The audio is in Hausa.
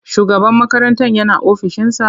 Shugaban makarantar yana ofishinsa?